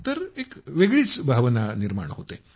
तर एक वेगळीच भावना निर्माण होते